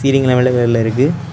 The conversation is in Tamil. சீலிங்ல மட்டு வெள்ள இருக்கு.